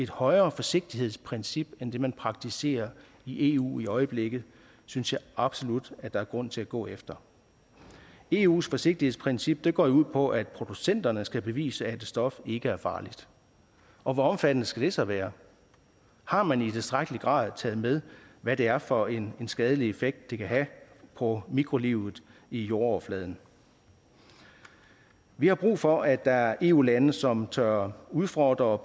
højere forsigtighedsprincip end det man praktiserer i eu i øjeblikket synes jeg absolut der er grund til at gå efter eus forsigtighedsprincip går jo ud på at producenterne skal bevise at et stof ikke er farligt og hvor omfattende skal det så være har man i tilstrækkelig grad taget med hvad det er for en skadelig effekt det kan have på mikrolivet i jordoverfladen vi har brug for at der er eu lande som tør udfordre og